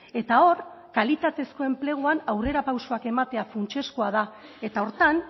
eta hor kalitatezko enpleguan aurrerapausoak ematea funtsezkoa da eta horretan